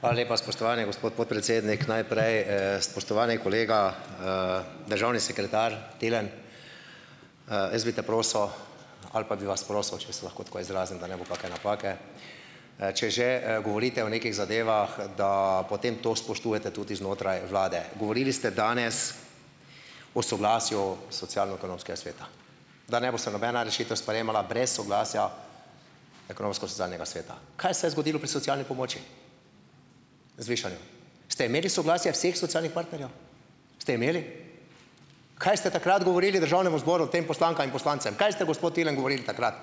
Hvala lepa, spoštovani gospod podpredsednik. Najprej, spoštovani kolega, državni sekretar Tilen, jaz bi te prosil ali pa bi vas prosil, če se lahko tako izrazim, da ne bo kake napake, če že govorite o nekih zadevah, da potem to spoštujete tudi znotraj vlade. Govorili ste danes o soglasju socialno-ekonomskega sveta, da ne bo se nobena rešitev sprejemala brez soglasja Ekonomsko-socialnega sveta. Kaj se je zgodilo pri socialni pomoči, zvišanju? Ste imeli soglasje vseh socialnih partnerjev? Ste imeli? Kaj ste takrat govorili v Državnemu zboru tem poslankam in poslancem? Kaj ste, gospod Tilen, govorili takrat?